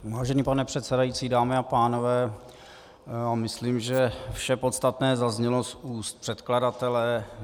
Vážený pane předsedající, dámy a pánové, já myslím, že vše podstatné zaznělo z úst předkladatele.